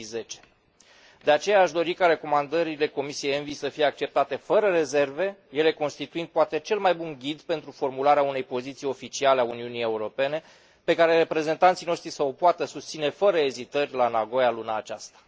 2010. De aceea, aș dori ca recomandările Comisiei ENVI să fie acceptate fără rezerve, ele constituind poate cel mai bun ghid pentru formularea unei poziții oficiale a Uniunii Europene pe care reprezentanții noștri să o poată susține fără ezitări la Nagoya luna aceasta.